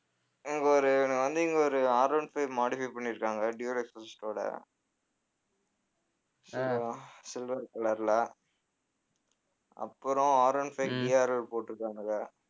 இங்க ஒரு வந்து இங்க ஒரு Rone five modify பண்ணியிருக்காங்க ஓட silver color ல அப்புறம் Rone fiveDRL போட்டிருக்கானுக